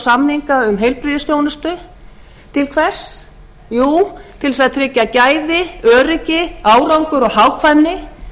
samninga um heilbrigðisþjónustu til hvers jú til þess að tryggja gæði öryggi árangur og hagkvæmni